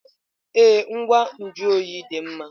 Ee, ngwa nju oyi dị mma.